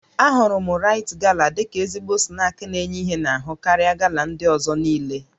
Ahụrụ m Rite Gala dịka ezigbo snaakị n'enye ihe n'ahụ karịa Gala ndị ọzọ niile